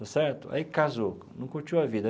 Está certo aí casou, não curtiu a vida.